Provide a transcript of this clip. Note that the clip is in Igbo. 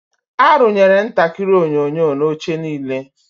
Arụnyere ntakịrị onyonyo na oche niile.